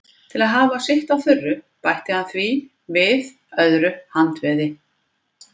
Til að hafa allt sitt á þurru bætti hann því við öðru handveði.